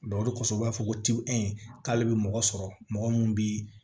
o de kosɔn u b'a fɔ ko k'ale bɛ mɔgɔ sɔrɔ mɔgɔ min bi